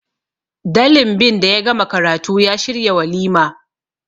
dalinbin da ya gama karatu ya shiryawalima